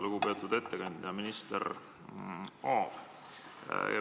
Lugupeetud ettekandja minister Aab!